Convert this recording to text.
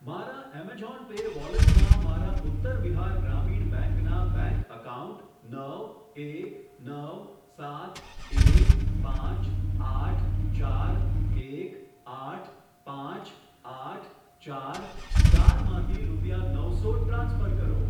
મારા Amazon Pay વોલેટમાં મારા ઉત્તર બિહાર ગ્રામીણ બેંક ના બેંક એકાઉન્ટ નવ એક નવ સાત એક પાંચ આઠ ચાર એક આઠ પાંચ આઠ ચાર ચાર માંથી રૂપિયા નવસો ટ્રાન્સફર કરો.